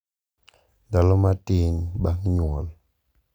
Ndalo matin bang’ nyuol.